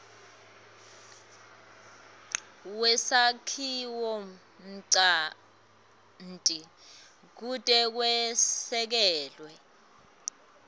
kwesakhiwonchanti kute kwesekelwe